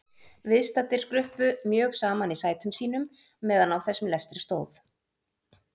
Viðstaddir skruppu mjög saman í sætum sínum meðan á þessum lestri stóð.